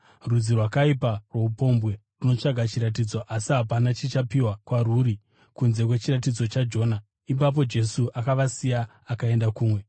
Rudzi rwakaipa rwoupombwe runotsvaka chiratidzo, asi hapana chichapiwa kwarwuri kunze kwechiratidzo chaJona.” Ipapo Jesu akavasiya, akaenda kumwe.